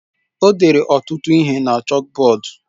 O dere ọtụtụ ihe na chọkbọọdu.